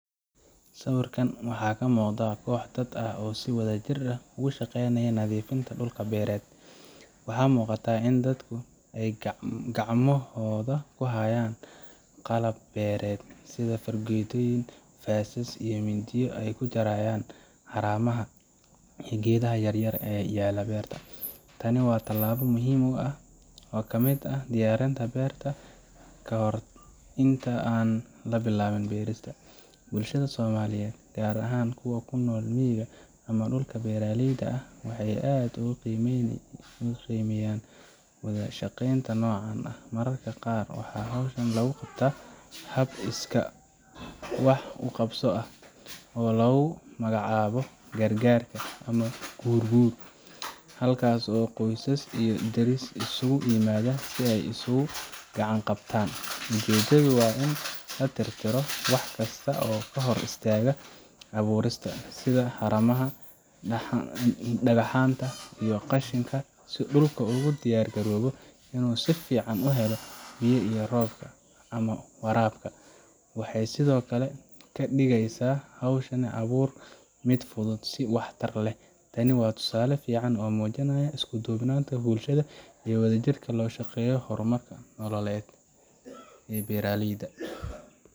Sawirkan waxa ka muuqda koox dad ah oo si wadajir ah uga shaqaynaya nadiifinta dhul beereed. Waxaa muuqata in dadkani ay gacmahooda ku hayaan qalab beereed sida fargeetooyin, faasas iyo mindiyo ay ku jarayaan haramaha iyo geedaha yaryar ee ku yaalla beerta. Tani waa tallaabo muhiim ah oo ka mid ah diyaarinta beerta ka hor inta aan la bilaabin beerista. Bulshada Soomaaliyeed, gaar ahaan kuwa ku nool miyiga ama dhulka beeralayda ah, waxay aad u qiimeeyaan wada shaqeynta noocan ah. Mararka qaar, waxaa hawshan lagu qabtaa hab iskaa wax u qabso ah, oo lagu magacaabo gargaarka ama guur guur halkaasoo qoysas iyo deris isugu yimaadaan si ay isugu gacan qabtaan. Ujeeddadu waa in la tirtiro wax kasta oo hor istaagi kara abuurista, sida haramaha, dhagaxaanta iyo qashinka, si dhulku ugu diyaar garoobo inuu si fiican u helo biyaha roobka ama waraabka. Waxay sidoo kale ka dhigaysaa hawsha abuurka mid fudud oo waxtar leh. Tani waa tusaale fiican oo muujinaya isku duubnida bulshada iyo sida wadajirka looga shaqeeyo horumarka nololeed ee beeraleyda.